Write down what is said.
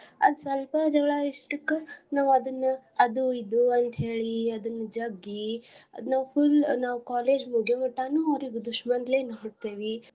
ಅದ್ ಸ್ವಲ್ಪ ಜಗಳಾ ಇಷ್ಟಕ್ಕ ನಾವ್ ಅದನ್ನ ಅದು ಇದು ಅಂತ್ ಹೇಳಿ ಅದನ್ ಜಗ್ಗಿ ಅದ್ನ full ನಾವ್ college ಮುಗ್ಯೋ ಮಟಾನು ಅವ್ರಿಗ್ दुश्मन ಲೆ ನೋಡ್ತೇವಿ.